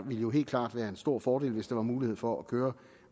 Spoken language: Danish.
ville jo helt klart være en stor fordel hvis der var mulighed for at køre